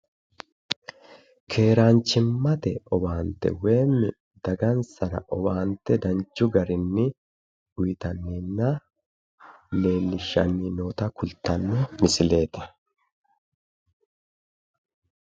Keeraanchimmate owaante woyimmi dagansara owaante danchu garinni uytanninna leellishshanni noota kultanno misileeti